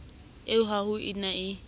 ee ha ho na e